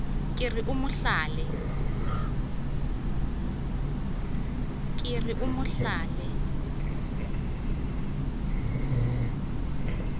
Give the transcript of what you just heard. ke re o mo hlale